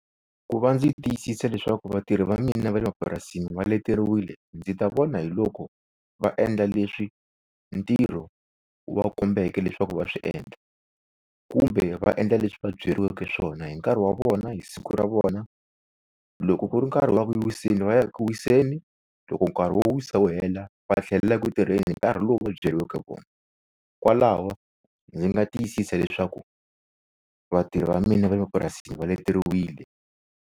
Ku va ndzi tiyisisa leswaku vatirhi va mina va le mapurasini va leteriwile ndzi ta vona hiloko va endla leswi ntirho wu va kombeka leswaku va swi endla. Kumbe va endla leswi va byariweke swona hi nkarhi wa vona hi siku ra vona, loko ku ri nkarhi wa ku wiseni va ya ku wiseni loko nkarhi wo wisa wu hela va tlhelelaka ku tirheni hi nkarhi lowu va byariweke wona. Kwalawo ndzi nga tiyisisa leswaku vatirhi va mina va le purasini leteriwile.